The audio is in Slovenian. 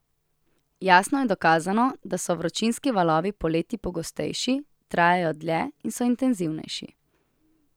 Jasno je dokazano, da so vročinski valovi poleti pogostejši, trajajo dlje in so intenzivnejši.